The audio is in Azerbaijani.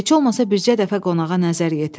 Heç olmasa bircə dəfə qonağa nəzər yetirərdi.